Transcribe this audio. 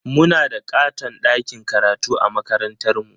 Muna da ƙaton ɗakin karatu a makarantarmu.